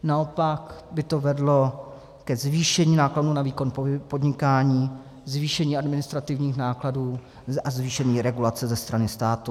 Naopak by to vedlo ke zvýšení nákladů na výkon podnikání, zvýšení administrativních nákladů a zvýšení regulace ze strany státu.